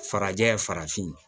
Farajɛ farafin